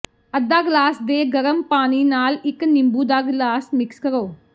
ਅੱਧਾ ਗਲਾਸ ਦੇ ਗਰਮ ਪਾਣੀ ਨਾਲ ਇਕ ਨਿੰਬੂ ਦਾ ਗਲਾਸ ਮਿਕਸ ਕਰੋ